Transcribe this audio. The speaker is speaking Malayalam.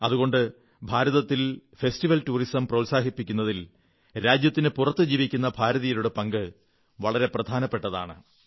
അതുകൊണ്ട് ഭാരതത്തിൽ ഫെസ്റ്റിവൽ ടൂറിസം പ്രോത്സാഹിപ്പിക്കുന്നതിൽ രാജ്യത്തിനു പുറത്തു ജീവിക്കുന്ന ഭാരതീയരുടെ പങ്ക് വളരെ പ്രധാനപ്പെട്ടതാണ്